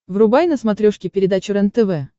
врубай на смотрешке передачу рентв